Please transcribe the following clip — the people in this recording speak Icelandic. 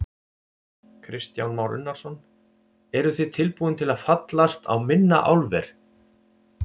Kristján Már Unnarsson: Eruð þið tilbúin til að fallast á minna álver?